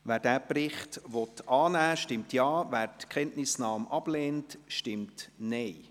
Wer diesen Bericht annehmen will, stimmt Ja, wer die Kenntnisnahme ablehnt, stimmt Nein.